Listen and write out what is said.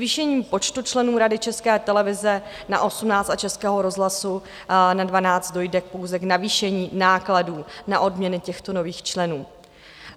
Zvýšením počtu členů Rady České televize na 18 a Českého rozhlasu na 12 dojde pouze k navýšení nákladů na odměny těchto nových členů.